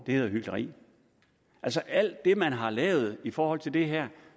det er hykleri efter alt det man har lavet i forhold til det her